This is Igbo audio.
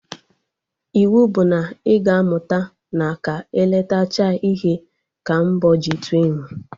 Iwu bụ na ị ga amụta na ka e letechaa ihe ka m bọọ ji tụọ enwe!